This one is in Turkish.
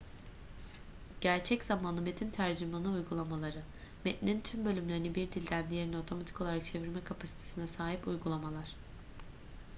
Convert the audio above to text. gerçek zamanlı metin tercümanı uygulamaları metnin tüm bölümlerini bir dilden diğerine otomatik olarak çevirme kapasitesine sahip uygulamalar